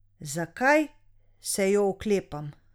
Zakaj se jo oklepam?